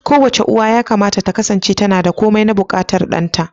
Kowace uwa yakamata ta kasance tana da komai na buƙatar ɗanta.